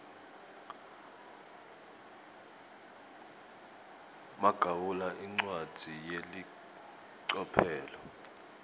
magawula incwadzi yelicophelo